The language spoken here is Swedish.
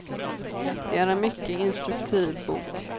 Det är en mycket instruktiv bok.